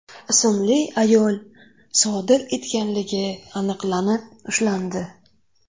ismli ayol sodir etganligi aniqlanib, ushlandi.